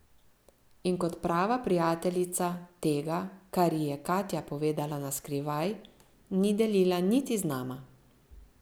In kot prava prijateljica tega, kar ji je Katja povedala na skrivaj, ni delila niti z nama.